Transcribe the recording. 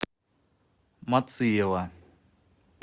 мациева